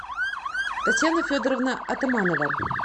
татьяна федоровна атаманова